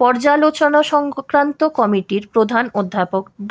পর্যালোচনাসংক্রান্ত কমিটির প্রধান অধ্যাপক ড